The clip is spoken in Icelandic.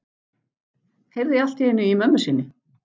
Heyrði allt í einu í mömmu sinni.